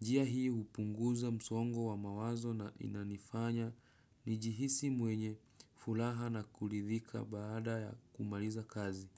Njia hii hupunguza msongo wa mawazo na inanifanya nijihisi mwenye furaha na kuridhika baada ya kumaliza kazi.